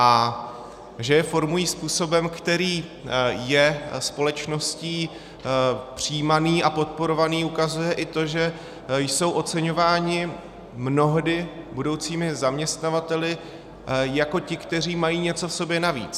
A že je formují způsobem, který je společností přijímaný a podporovaný, ukazuje i to, že jsou oceňováni mnohdy budoucími zaměstnavateli jako ti, kteří mají něco v sobě navíc.